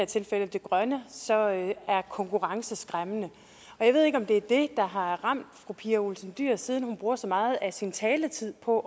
tilfælde det grønne så er konkurrence skræmmende og jeg ved ikke om det er det der har ramt fru pia olsen dyhr siden hun bruger så meget af sin taletid på